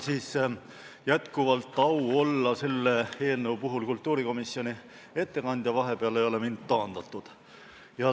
Mul on jätkuval au olla selle eelnõu puhul kultuurikomisjoni ettekandja, vahepeal ei ole mind taandatud.